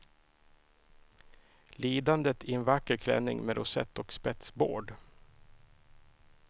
Lidandet i en vacker klänning med rosett och spetsbård.